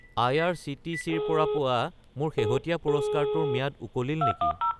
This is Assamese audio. আই.আৰ.চি.টি.চি. ৰ পৰা পোৱা মোৰ শেহতীয়া পুৰস্কাৰটোৰ ম্যাদ উকলিল নেকি?